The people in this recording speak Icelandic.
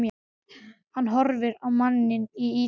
Hann horfir á manninn í ýtunni.